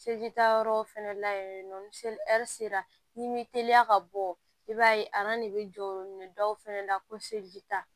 Se ji taayɔrɔ fɛnɛ la yen nɔ ni sera n'i m'i teliya ka bɔ i b'a ye de be jɔ o minɛ dɔw fɛnɛ la ko seli ta